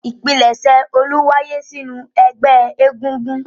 Ìpilẹ̀ṣẹ̀ Olú wáyé sínú ẹgbẹ́ egúngún.